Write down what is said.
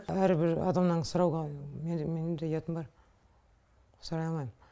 әрбір адамнан сұрауға менің менің де ұятым бар сұрай алмаймын